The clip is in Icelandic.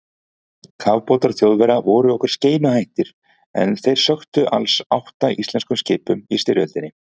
Kafbátar Þjóðverja voru okkur skeinuhættir og þeir sökktu alls átta íslenskum skipum í styrjöldinni.